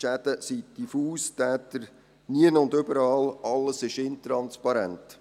Die Schäden sind diffus, die Täter nirgendwo und überall, alles ist intransparent.